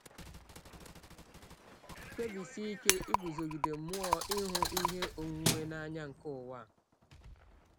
Kpebisie ike iguzogide mmụọ ịhụ ihe onwunwe n’anya nke ụwa a.